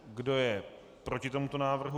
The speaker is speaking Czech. Kdo je proti tomuto návrhu?